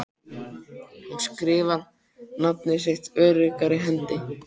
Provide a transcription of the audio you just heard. Hún skrifar nafnið sitt öruggri hendi.